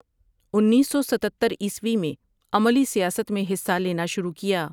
انیس سو ستتر عیسوی میں عملی سیاست میں حصہ لینا شروع کیا ۔